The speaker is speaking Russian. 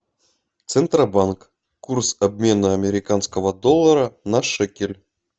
центробанк курс обмена американского доллара на шекель